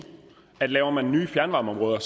at laver man nye fjernvarmeområder